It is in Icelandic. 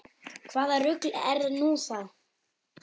Hvaða rugl er nú það?